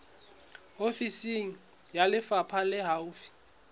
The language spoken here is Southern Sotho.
ofisi ya lefapha le haufi